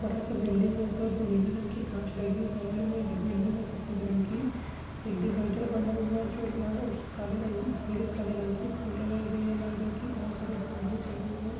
बड़ा सा बिल्डिंग है| तो जो नीली रंग की कांच लगी बगल में एक बिल्डिंग है |सफ़ेद रंग की एक डिवाइडर बना हुआ जो लाल और उस काले रंग पिले काले रंग की फूल लगाए गए है| लाल रंग की बहोत सारे गाड़िया री है।